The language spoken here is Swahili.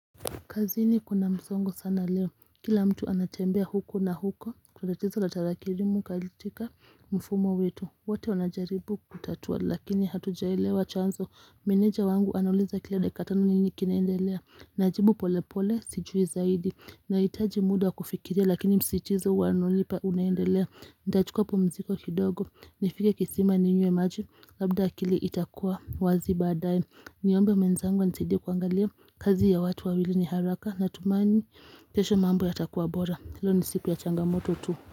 Kazini kuna msongo sana leo. Kila mtu anatembea huko na huko. Kuna tatizo la tarakirimu katika mfumo wetu. Wote wanajaribu kutatua lakini hatujaelewa chanzo. Meneja wangu anauliza kila dakika tano nini kinaendelea. Najibu pole pole sijui zaidi. Na itaji muda kufikiria lakini msitizo walonipa unaendelea. Ndachukua pumziko kidogo nifike kisima ni nywe maji labda akili itakuwa wazi badae niombe mwenzangu anisaidie kuangalia kazi ya watu wawili ni haraka na tumani kesho mambo yatakuwa bora leo ni siku ya changamoto tu.